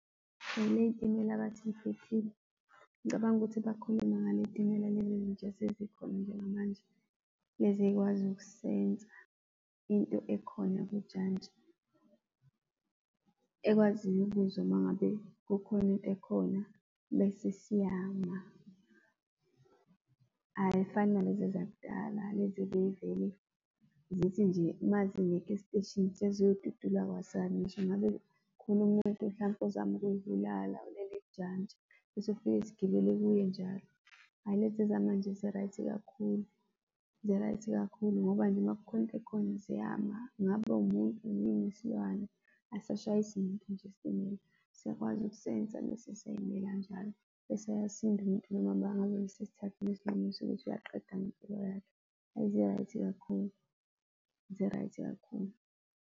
Ley'timela abathi yiphephile, ngicabanga ukuthi bakhulume ngaley'timela lezi ezintsha esezikhona njengamanje, lezi ey'kwazi uku-sense-a into ekhona kujantshi, ekwaziyo ukuzwa uma ngabe kukhona into khona, bese siyama. Ayifani nalezi ezakudala, lezi ezay'vele zithi nje uma zingekho esiteshini seziyodudula kwasani ngisho ngabe khona umuntu hlampe ozama ukuyibulala ulele kujantshi, bese fike sigibele kuye njalo. Hhayi lezi zamanje zi-right kakhulu, zi-right kakhulu ngoba nje uma kukhona into ekhona ziyama, ngabe umuntu, noma isilwane, asashayisi muntu nje isitimela. Siyakwazi uku-sense-a bese siyay'mela njalo, bese ayasinda umuntu nanoma ngabe ubesesithathile isinqumo sokuthi uyaqeda ngempilo yakhe. Hhayi, zi-right kakhulu, zi-right kakhulu.